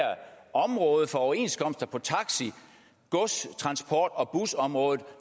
område for overenskomster taxa gods transport og busområdet